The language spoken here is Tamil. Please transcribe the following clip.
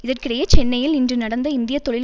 இதற்கிடையே சென்னையில் இன்று நடந்த இந்திய தொழில்